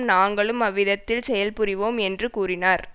நாங்களும் அவ்விதத்தில் செயல் புரிவோம் என்று கூறினார்